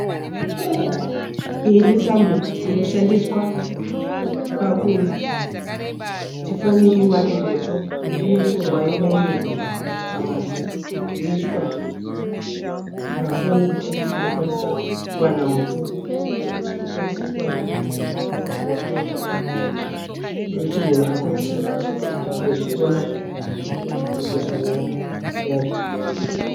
Iyi itambo inoshandiswa pakuti foni iwane moto. Inotorwa yo bairirwa pamagetsi yoiswa pafoni kuti igokwanisa kuwana moto wekuti munhu akwanise kuzofona pambozhanhare yake.